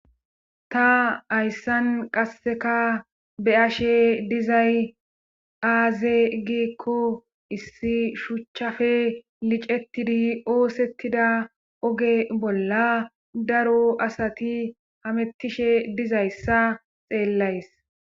Ta hayssan qasseka be ashe dizay aaze giikko issi shuchchafe licetidi oosettida oge bolla daro asati hamettishe dizayssa xeellays.